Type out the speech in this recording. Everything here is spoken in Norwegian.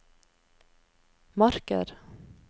marker